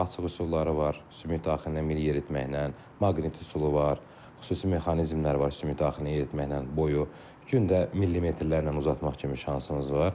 Qapalı, açıq üsulları var, sümük daxilindən mil yeritməklə, maqnit üsulu var, xüsusi mexanizmlər var sümük daxilinə yeritməklə boyu gündə millimetrlərlə uzatmaq kimi şansımız var.